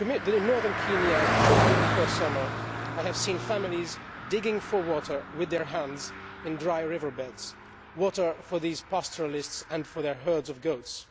In northern Kenya, shortly before the summer, I saw families digging for water with their hands in dry river beds water for these pastoralists and for their herds of goats.